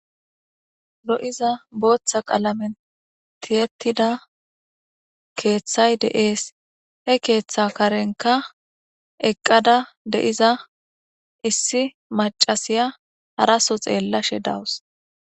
Lo7iza booththa qalamen tiyettida keeththay deees he keeththa karenka eqqada de7iza issi macasiya haraso xeellashe dawus